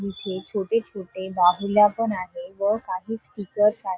इथे छोटे छोटे बाहुल्या पण आहे व काही स्टीकर्स आहे.